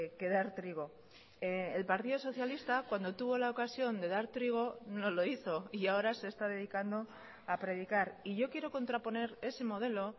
que dar trigo el partido socialista cuando tuvo la ocasión de dar trigo no lo hizo y ahora se está dedicando a predicar y yo quiero contraponer ese modelo